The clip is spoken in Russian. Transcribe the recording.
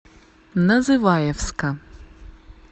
называевска